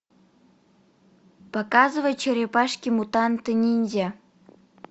показывай черепашки мутанты ниндзя